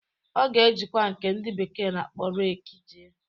Ọ ga-ejikwa nke ndị bekee na-akpọ reekị jee.